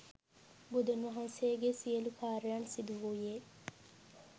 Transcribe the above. බුදුන් වහන්සේගේ සියලුම කාරියන් සිදුවූයේ